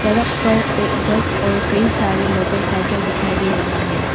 सड़क पर एक बस और कई सारे मोटरसाइकिल दिखाई दे रहा है।